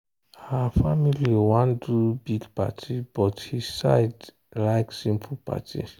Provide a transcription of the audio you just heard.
her family wan do big party but his side like simple party.